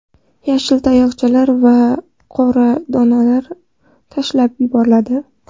Yashil tayoqchalar va qora donlari tashlab yuboriladi.